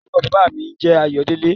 Orúkọ baba mi n jẹ́ Ayodele.